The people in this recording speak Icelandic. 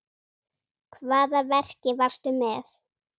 Hvaða verki varstu með?